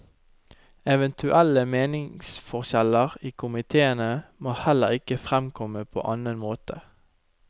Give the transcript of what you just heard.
Eventuelle meningsforskjeller i komiteene må heller ikke fremkomme på annen måte.